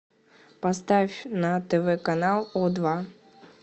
поставь на тв канал о два